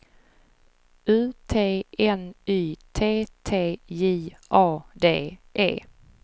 U T N Y T T J A D E